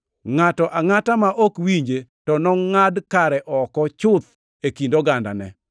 Ngʼato angʼata ma ok winje, to nongʼad kare oko chuth e kind ogandane.’ + 3:23 \+xt Rap 18:15,18,19\+xt*